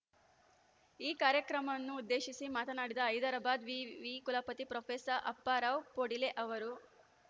ಈ ಕಾರ್ಯಕ್ರಮವನ್ನುದ್ದೇಶಿಸಿ ಮಾತನಾಡಿದ ಹೈದರಾಬಾದ್‌ ವಿವಿ ಕುಲಪತಿ ಪ್ರೊಫೆಸ ಅಪ್ಪಾ ರಾವ್‌ ಪೊಡಿಲೆ ಅವರು